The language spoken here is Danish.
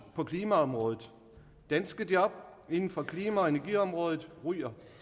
på klimaområdet danske job inden for klima og energiområdet ryger